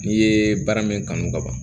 N'i ye baara min kanu ka ban